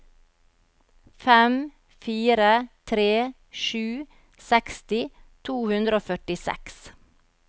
fem fire tre sju seksti to hundre og førtiseks